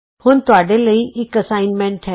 ਹੁਣ ਤੁਹਾਡੇ ਲਈ ਇਕ ਅਸਾਈਨਮੈਂਟ ਹੈ